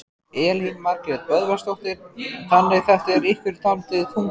Elín Margrét Böðvarsdóttir: Þannig þetta er ykkur dálítið þungbært?